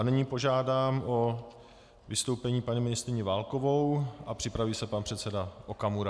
A nyní požádám o vystoupení paní ministryni Válkovou a připraví se pan předseda Okamura.